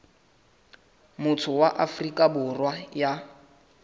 motho wa afrika borwa ya